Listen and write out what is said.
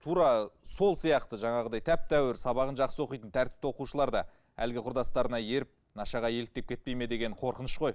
тура сол сияқты жаңағыдай тәп тәуір сабағын жақсы оқитын тәртіпті оқушылар да әлгі құрдастарына еріп нашаға еліктеп кетпей ме деген қорқыныш қой